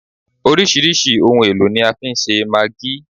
Oríṣirísi àwọn ohun èlò ni a fi ń ṣe maggi